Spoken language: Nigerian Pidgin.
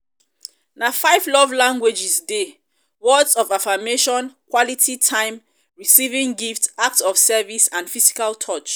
na five love languages dey: words of affirmation quality time receiving gifts acts of service and physical touch.